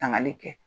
Tangali kɛ